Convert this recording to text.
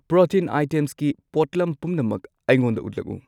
Protein ꯑꯥꯏꯇꯦꯝꯁꯀꯤ ꯄꯣꯠꯂꯝ ꯄꯨꯝꯅꯃꯛ ꯑꯩꯉꯣꯟꯗ ꯎꯠꯂꯛꯎ꯫